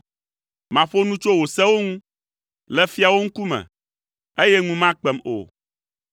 Maƒo nu tso wò sewo ŋu le fiawo ŋkume, eye ŋu makpem o.